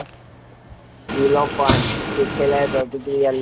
બી વિલોપન શીખેલી પ્રતિક્રિયાની